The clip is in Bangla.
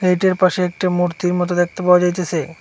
পাশে একটা মূর্তির মত দেখতে পাওয়া যাইতাছে।